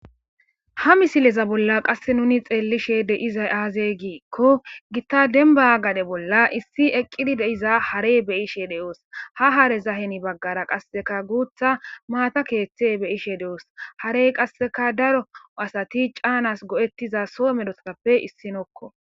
ha misileza bolla qasse nuni xeellishe deizay aazey giikko gitta denba gade bolla issi eqqidi deiza harey beyishe de7oos ha hareza heni baggara qasseka guutha maata keeththe beyishe de7oos harey qasseka daro asati caanas go7ettiza soo medoappe issinokko